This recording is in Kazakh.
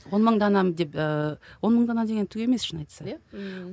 он мың данам деп ыыы он мың дана деген түк емес шынын айтсақ иә ммм